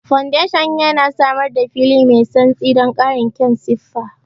Foundation yana samar da fili mai santsi don ƙarin kyan siffa.